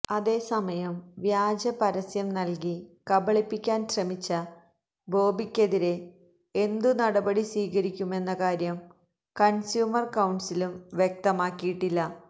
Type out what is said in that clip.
അതേസമയം വ്യാജ പരസ്യം നൽകി കബളിപ്പിക്കാൻ ശ്രമിച്ച ബോബിക്കെതിരെ എന്തു നടപടി സ്വീകരിക്കുമെന്ന കാര്യം കൺസ്യൂമർ കൌൺസിലും വ്യക്തമാക്കിയിട്ടില്ല